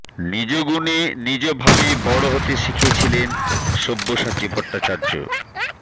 নিজ গুণে নিজ ভাবে বড় হতে শিখিয়েছিলেন সব্যসাচী ভট্টাচার্য